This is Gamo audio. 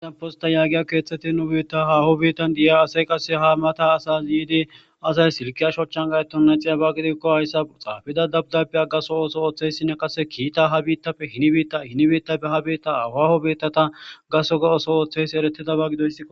Hadanposta yaagiya keeththeti nu biitta haaho biittan di7a asey qase ha mata asas yiidi asay silkiya shochan gaeton naxiya ba gidikko hayssa xaafida dabdabya gaso ooso ooththeyssinne qase kiita ha biittappe hini biitta hini biittappe ha biitta hawaho biittata gaso oso ooththeys eretidaba gidoysi.